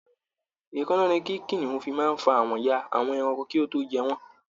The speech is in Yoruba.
Èékánná ni kì kìnìún fi máa ń fa àwọn ya àwọn ẹranko kí ó tó jẹ wọ́n